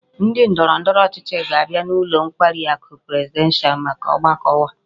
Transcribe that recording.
Ndi ndoro ndoro ochichi ga-abia n'ulo nkwari aku presidential maka ogbako ha